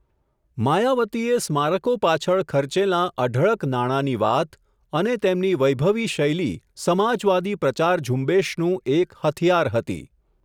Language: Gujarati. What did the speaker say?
માયાવતીએ સ્મારકો પાછળ ખર્ચેલાં અઢળક નાણાંની વાત, અને તેમની વૈભવી શૈલી સમાજવાદી પ્રચાર ઝુંબેશનું એક હથિયાર હતી.